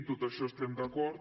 en tot això hi estem d’acord